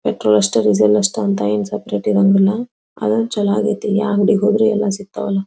Petrol ಅಷ್ಟೇ diesel ಅಷ್ಟೇ ಅಂತ ಏನ್ ಸೆಪೆರೇಟ್ ಇರೋಂಗಿಲ್ಲ ಆದ್ರೂ ಚಲೋ ಆಗೈತಿ ಯಾವ ಅಂಗಡಿಗೆ ಹೋದ್ರು ಎಲ್ಲ ಸಿಗತಾವಳ.